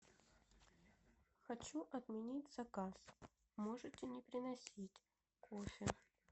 хочу отменить заказ можете не приносить кофе